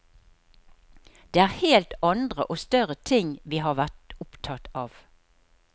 Det er helt andre og større ting vi har vært opptatt av.